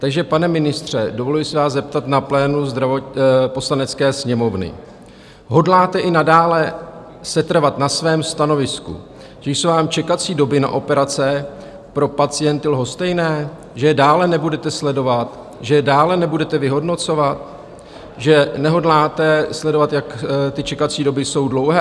Takže, pane ministře, dovoluji se vás zeptat na plénu Poslanecké sněmovny: Hodláte i nadále setrvat na svém stanovisku, že jsou vám čekací doby na operace pro pacienty lhostejné, že je dále nebudete sledovat, že je dále nebudete vyhodnocovat, že nehodláte sledovat, jak ty čekací doby jsou dlouhé?